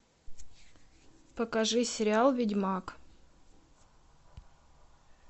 покажи сериал ведьмак